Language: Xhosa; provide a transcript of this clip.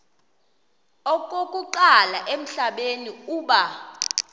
okokuqala emhlabeni uba